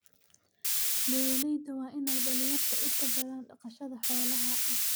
Beeralayda waa in ay dhalinyarada u tababaraan dhaqashada xoolaha.